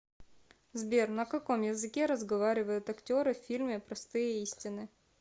сбер на каком языке разговаривают актеры в фильме простые истины